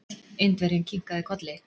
Indverjinn kinkaði kolli.